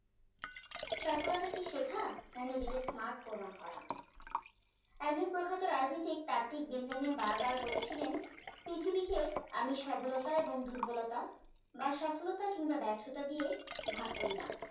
সফলতা কি শেখ না নিজেকে smart প্রমাণ করা একজন প্রখ্যাত রাজনৈতিক তাত্ত্বিক বেঞ্জামিন বারবার বলেছিলেন পৃথিবীকে আমি সবলতা এবং দুর্বলতা বা সফলতা কিংবা ব্যর্থতা দিয়ে ভাগ করি না